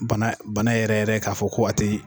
Bana yɛrɛ yɛrɛ k'a fɔ ko a tɛ ye!